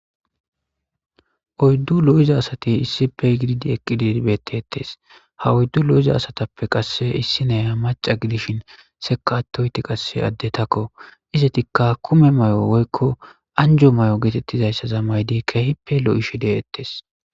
Oyddu lo7iza asati issippe gididi eqqidi betettes .Ha oyddu lo7iza asatappe qasse issi nayiya maca gidishin seka attoyti qasse addetakko. Isetikka kume may7o woykko anjo may7o geetettizayssaza maydi keehipe lo7ishi de7ettes.